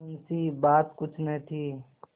मुंशीबात कुछ न थी